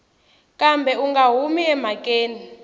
kambe u nga humi emhakeni